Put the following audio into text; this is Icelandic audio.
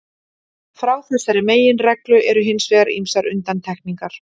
Frá þessari meginreglu eru hins vegar ýmsar undantekningar.